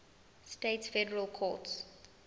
states federal courts